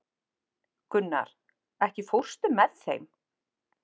Gunnar, ekki fórstu með þeim?